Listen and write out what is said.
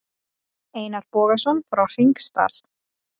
Einar Bogason frá Hringsdal.